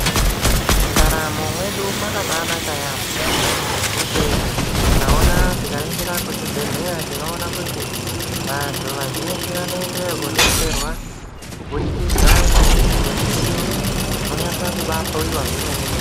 Mundaramo mwedu makabanaka yaamho ngekuti tikaona tikaringira kuzvibhedhleya. Tinoona kuti vantu vazhinji vanoendeyo kodetserwa kubudikidza ngemidziyo iriyo, unonyasa kubahloiwa zvemene-mene.